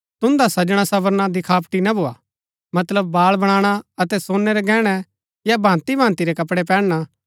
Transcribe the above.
तुन्दा सजणासंवरना दिखावटी ना भोआ मतलब बाल बनाणा अतै सोनै रै गैहणै या भाँति भाँति रै कपड़ै पैहनना